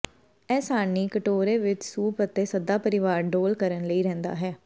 ਇਹ ਸਾਰਣੀ ਕਟੋਰੇ ਵਿੱਚ ਸੂਪ ਅਤੇ ਸੱਦਾ ਪਰਿਵਾਰ ਡੋਲ੍ਹ ਕਰਨ ਲਈ ਰਹਿੰਦਾ ਹੈ